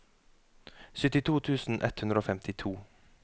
syttito tusen ett hundre og femtito